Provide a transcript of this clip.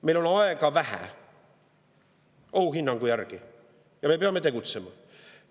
Meil on ohuhinnangu järgi vähe aega ja me peame tegutsema.